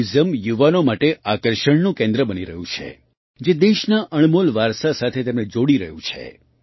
museum યુવાનો માટે આકર્ષણનું કેન્દ્ર બની રહ્યું છે જે દેશના અણમોલ વારસા સાથે તેમને જોડી રહ્યું છે